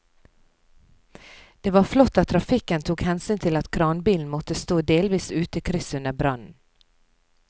Det var flott at trafikken tok hensyn til at kranbilen måtte stå delvis ute i krysset under brannen.